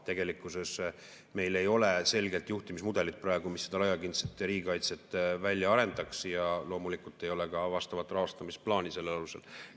Tegelikkuses meil ei ole praegu selget juhtimismudelit, mis seda laiapindset riigikaitset välja arendaks, ja loomulikult ei ole ka vastavat rahastamisplaani sellel alusel.